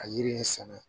Ka yiri in sɛnɛ